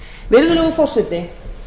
virðulegur forseti